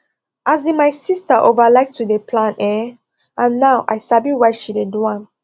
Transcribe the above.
as in my sister over like to dey plan ehnn and na now i sabi why she dey do am